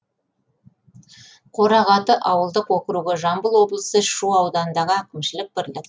қорағаты ауылдық округі жамбыл облысы шу ауданындағы әкімшілік бірлік